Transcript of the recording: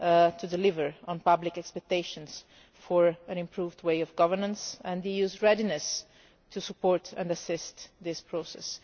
to deliver on public expectations for an improved way of governance, and the EU's readiness to support and assist this process.